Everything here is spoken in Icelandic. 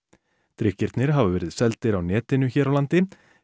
drykkirnir hafa verið seldir á netinu hér á landi